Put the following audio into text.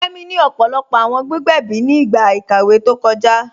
Kẹmi ni ọpọlọpọ awọn gbígbẹ̀bí ni igba ikàwé tó kọja.